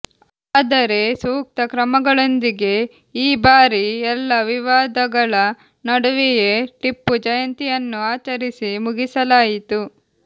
ಆದರೆ ಸೂಕ್ತ ಕ್ರಮಗಳೊಂದಿಗೆ ಈ ಬಾರಿ ಎಲ್ಲಾ ವಿವಾದಗಳ ನಡುವೆಯೆ ಟಿಪ್ಪು ಜಯಂತಿಯನ್ನು ಆಚರಿಸಿ ಮುಗಿಸಲಾಯಿತು